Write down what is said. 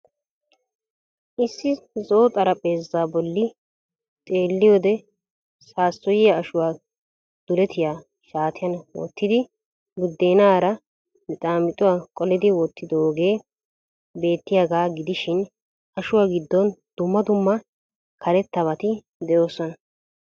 Issi zo'o xaraphpheezaa bolli xeelliyode sasoyiya ashuwaa duletiya shaattiyan wottidi budeenaaranne mixaamixuwaa qolidi wottidoogee beettiyaaga gidishiin ashuwa gidoon dumma dumma karettabati dee'oosona.